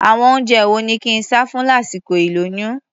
Àwọn oúnjẹ wo ni kí n sá fún lásìkol ìlóyún?